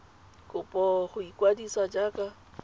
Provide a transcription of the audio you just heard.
kopo ya go ikwadisa jaaka